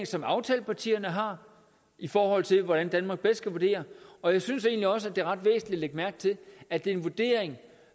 som aftalepartierne har i forhold til hvordan danmark bedst kan agere og jeg synes egentlig også at det er ret væsentligt at lægge mærke til at det er en vurdering